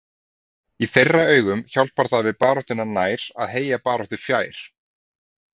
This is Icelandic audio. Í þeirra augum hjálpar það við baráttuna nær að heyja baráttu fjær.